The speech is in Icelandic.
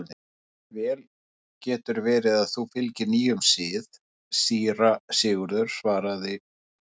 Vel getur verið að þú fylgir nýjum sið, síra Sigurður, svaraði Ólafur.